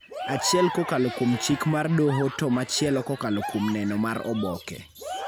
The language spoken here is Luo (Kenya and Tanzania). achiel kokalo kuom chik mar doho to machielo kokalo kuom neno mar oboke